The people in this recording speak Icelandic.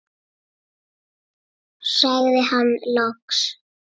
sagði hann loks.